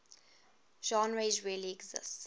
genres really exist